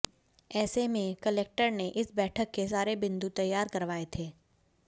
ऐसे में कलेक्टर ने इस बैठक के सारे बिंदू तैयार करवाए थे